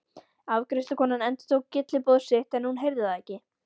Afgreiðslukonan endurtók gylliboð sitt en hún heyrði það ekki.